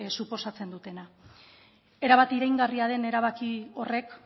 suposatzen dutena erabat iraingarria den erabaki horrek